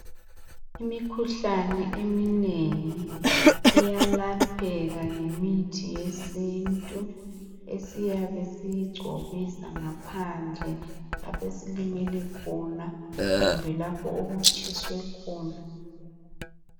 Imikhuhlani eminengi iyalapheka ngemithi yesintu. Esiyabe siyigcobisa ngaphandle. Laphe silimele khona kumbe lapho okutshiswe khona.